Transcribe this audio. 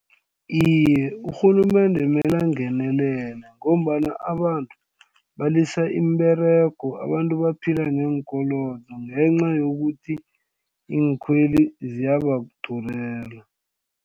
Iye, urhulumende mele angenelele ngombana abantu balisa imiberego. Abantu baphila neenkolodo ngenca yokuthi iinkhwelo ziyabadurela.